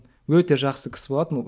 өте жақсы кісі болатын ол